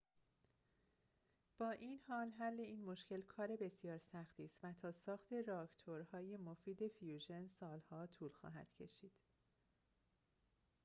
با این حال حل این مشکل کار بسیار سختی است و تا ساخت راکتورهای مفید فیوژن سال‌ها طول خواهد کشید